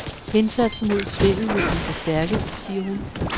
Indsatsen mod svindel vil blive forstærket, siger hun.